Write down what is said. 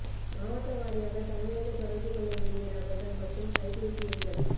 மாவட்ட வாரியாக தமிழர்கள் தொடர்பு கொள்ள வேண்டிய நபர்கள் மற்றும் கை பேசி எண்கள்